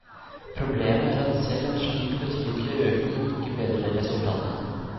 Problemet er at selv en slik betydelig økning ikke bedrer resultatene.